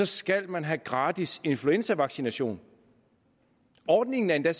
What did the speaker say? skal man have gratis influenzavaccination ordningen er endda